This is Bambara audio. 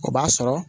O b'a sɔrɔ